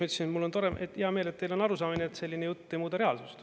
Ma ütlesin, et mul on hea meel, et teil on arusaamine, et selline jutt ei muuda reaalsust.